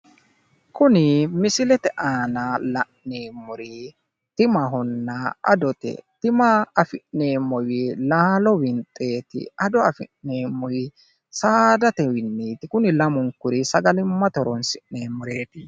Kuni misilete aana la'neemmori timahonna adote. Tima afi'neemmowi laalo winxeeti. Ado afi'neemmowi saadatenniiti. Kuri lamunku sagalimmate horoonsi'neemmoreeti.